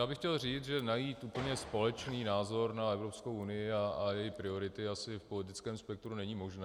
Já bych chtěl říct, že najít úplně společný názor na Evropskou unii a její priority asi v politickém spektru není možné.